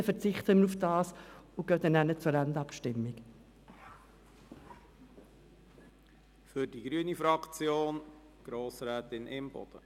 Bitte verzichten Sie darauf, damit wir anschliessend zur Endabstimmung gelangen können.